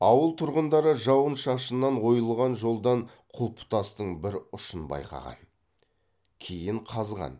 ауыл тұрғындары жауын шашыннан ойылған жолдан құлпытастың бір ұшын байқаған кейін қазған